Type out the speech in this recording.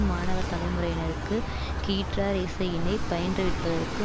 மாணவ தலைமுறையினருக்கு கீற்றார் இசையினை பயின்றுவிப்பதற்கு